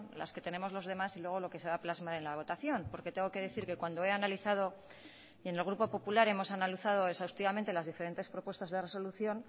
la que tenemos los demás y luego lo que se va a plasmar en la votación en el grupo popular hemos analizado exhaustivamente las diferentes propuestas de resolución